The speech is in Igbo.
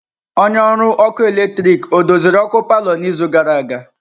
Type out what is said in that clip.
Onye ọrụ ọkụ eletrik ọ doziri ọkụ palọ n'izu gara aga?